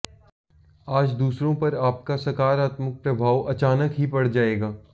आज दूसरों पर आपका सकारात्मक प्रभाव अचानक ही पड़ जाएगा